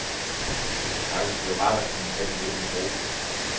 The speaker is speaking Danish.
Det skal faktisk blive rart at kunne tage den lidt med ro.